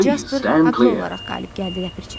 Jaspar haqlı olaraq qalib gəldi ləpirçi.